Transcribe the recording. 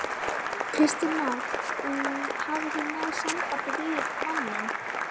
Kristján Már: Hafið þið náð sambandi við manninn?